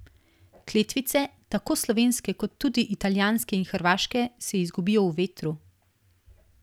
Kletvice, tako slovenske kot tudi italijanske in hrvaške, se izgubijo v vetru.